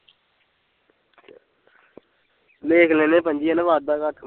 ਲਿਖ ਲੈਂਦੇ ਪੰਜੀ ਹੈਨਾ ਵਾਧਾ ਘਾਟ ਹੁੰਦੀ